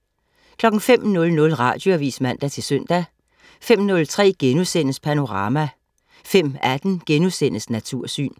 05.00 Radioavis (man-søn) 05.03 Panorama* 05.18 Natursyn*